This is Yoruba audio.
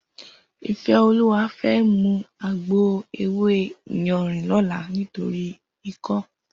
Ifeoluwa fè mú àgbó éwé iyànrín lòlá nitóri ikò